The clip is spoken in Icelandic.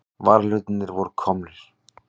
Varahlutirnir voru komnir.